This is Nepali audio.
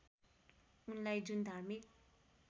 उनलाई जुन धार्मिक